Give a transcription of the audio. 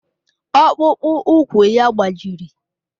Ọkpụkpụ úkwù ya gbajiri